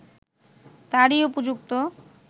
তারই উপযুক্ত